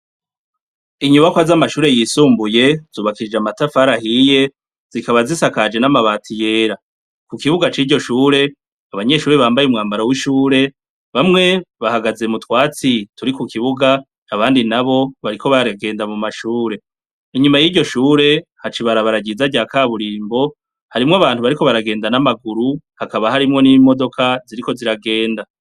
Inyubakwa z'amashure yisumbuye zubakishije amatafari ahiye zikaba zisakaje n'amabati yera, ku kibuga c'iryo shure abanyeshure bambaye umwambaro w'ishure bamwe bahagaze mu twatsi turi kukibuga abandi nabo bariko baragenda mu mashure, inyuma t'iryo shure haca ibarabara ryiza ryakaburimbo harimwo abantu bariko bagenda n'amaguru hakaba harimwo n'imodoka ziriko ziragenda.